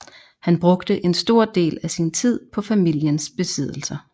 Han brugte en stor del af sin tid på familiens besiddelser